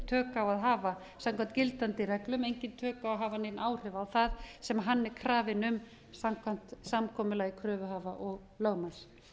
tök á hafa samkvæmt gildandi reglum eigi tök á að hafa hér áhrif á það sem hann er krafinn um samkvæmt samkomulagi kröfuhafa og lögmanns